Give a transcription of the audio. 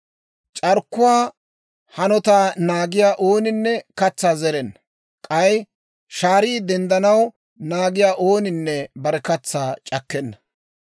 C'arkkuwaa hanotaa naagiyaa ooninne katsaa zerenna; k'ay shaarii denddanaw naagiyaa ooninne bare katsaa c'akkenna.